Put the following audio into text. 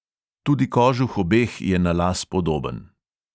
Tudi kožuh obeh je na las podoben.